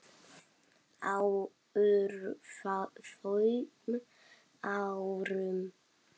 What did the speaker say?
Á örfáum árum.